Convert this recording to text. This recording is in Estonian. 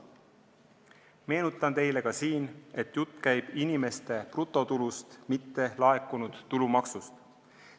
Meenutan teile, et jutt käib inimeste brutotulust, mitte laekunud tulumaksust.